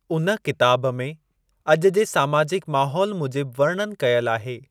उन किताब में अॼु जे सामाजिक माहोल मूजिब वर्णनु कयलु आहे।